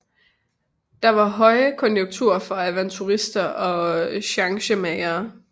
Der var højkonjunktur for avanturister og chancemagere